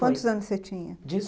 Quantos anos você tinha? de